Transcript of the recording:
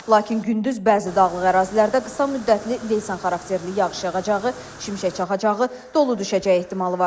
Lakin gündüz bəzi dağlıq ərazilərdə qısa müddətli leysan xarakterli yağış yağacağı, şimşək çaxacağı, dolu düşəcəyi ehtimalı var.